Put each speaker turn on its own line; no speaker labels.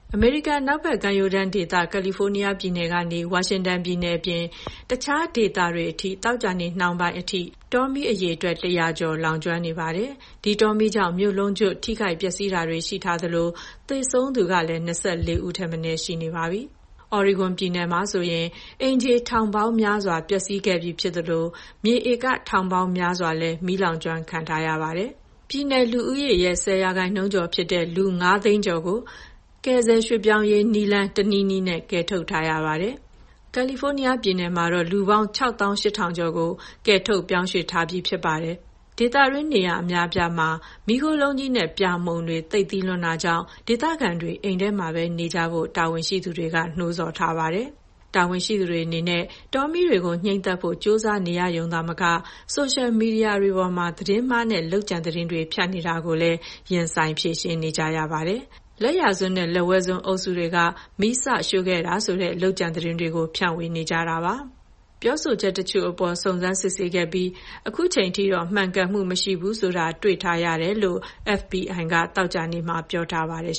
အမေရိကန် အနောက်ဘက်ကမ်းရိုးတန်းဒေသ ကယ်လီဖိုးနီးယားပြည်နယ်ကနေ ဝါရှင်တန်ပြည်နယ်အပြင် တခြားဒေသတွေအထိ သောကြာနေ့ နှောင်းပိုင်းထိဆိုရင် တောမီးအရေအတွက် ၁၀၀ ကျော် လောင်ကျွမ်းနေပါတယ်။ ဒီတောမီးကြောင့် မြို့လုံးကျွတ် ထိခိုက်ပျက်စီးတာတွေ ရှိထားသလို သေဆုံးသူကလည်း ၂၄ ဦးထက်မနည်း ရှိနေပါပြီ။ Oregon ပြည်နယ်မှာဆိုရင် အိမ်ခြေထောင်ပေါင်းများစွာ ပျက်စီးခဲ့ပြီဖြစ်သလို မြေဧက ထောင်ပေါင်းများစွာလည်း မီးလောင်ကျွမ်းခံထားရပါတယ်။ ပြည်နယ်လူဦးရေရဲ့ ၁၀ ရာခိုင်နှုန်းကျော်ဖြစ်တဲ့ လူ ၅၀၀,၀၀၀ ကျော်ကို ကယ်ဆယ်ရွှေ့ပြောင်းရေး နည်းလမ်း တနည်းနည်းနဲ့ ကယ်ထုတ်ထားရပါတယ်။ ကယ်လီဖိုးနီးယားပြည်နယ်မှာတော့ လူပေါင်း ၆၈,၀၀၀ ကျော်ကို ကယ်ထုတ် ရွှေ့ပြောင်းပေးထားပါတယ်။ ဒေသတွင်း နေရာအများအပြားမှာ မီးခိုးလုံးကြီးနဲ့ ပြာမှုန်တွေ သိပ်သည်းလွန်းတာကြောင့် ကျန်းမာရေးဆိုင်ရာ သတိပေးချက်တွေ ထုတ်ပြန်ထားရသလို ဒေသခံတွေ အိမ်ထဲမှာပဲနေကြဖို့ တာဝန်ရှိသူတွေက နှိုးဆော်ထားပါတယ်။ တာဝန်ရှိသူတွေအနေနဲ့ တောမီးတွေကို ငြှိမ်းသတ်ဖို့ ကြိုးစားနေရရုံသာမက ဆိုရှယ်မီဒီယာတွေပေါ်မှာ သတင်းမှားနဲ့ လုပ်ကြံသတင်းတွေ ဖြန့်နေတာကိုလည်း ရင်ဆိုင် ဖြေရှင်းနေရပါတယ်။ လက်ယာစွန်းနဲ့ လက်ဝဲစွန်း အုပ်စုတွေက မီးစရှို့ခဲ့တာဆိုတဲ့ လုပ်ကြံသတင်းတွေကို ဖြန့်နေကြတာပါ။ ပြောဆိုချက်တချို့အပေါ် စုံစမ်းစစ်ဆေးခဲ့ပြီး ခုချိန်ထိတော့ မှန်ကန်မှုမရှိဘူးဆိုတာ တွေ့ထားရတယ်လို့ FBI က သောကြာနေ့မှာ ပြောပါတယ်